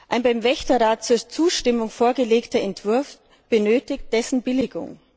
Ein dem Wächterrat zur Zustimmung vorgelegter Entwurf benötigt dessen Billigung.